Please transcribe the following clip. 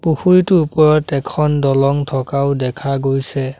পুখুৰীটোৰ ওপৰত এখন দলং থকাও দেখা গৈছে।